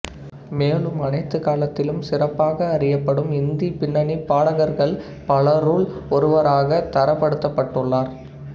மேலும் அனைத்து காலத்திலும் சிறப்பாக அறியப்படும் இந்தி பின்னணிப் பாடகர்கள் பலருள் ஒருவராகத் தரப்படுத்தப்பட்டுள்ளார்